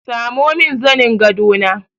Samo min zanin gado na!